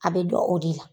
A bɛ dɔn o de la